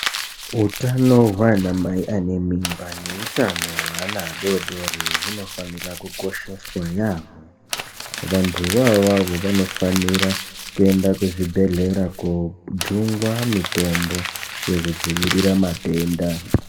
Hutano gwanamai anemimba nehutano hwewana adodori, gunofanira kukosheswa yamo. Vantu vavavo vanofanira kuenda kuzvibhedhlera kojungwa mitombo yekudzivirira matenda.